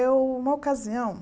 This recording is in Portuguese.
É uma ocasião.